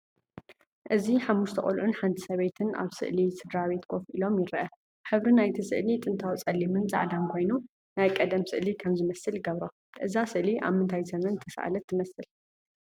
እዚ ሓሙሽተ ቆልዑን ሓንቲ ሰበይትን ኣብ ስእሊ ስድራቤት ኮፍ ኢሎም ይርአ። ሕብሪ ናይቲ ስእሊ ጥንታዊ ጸሊምን ጻዕዳን ኮይኑ፡ ናይ ቀደም ስእሊ ከም ዝመስል ይገብሮ። እዛ ስእሊ ኣብ ምንታይ ዘመን ዝተሳእለት ትመስል?